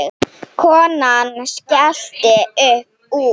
Konan skellti upp úr.